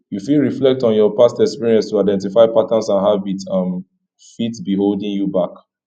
you fit reflect on your past experience to identify patterns and habits um fit be holding you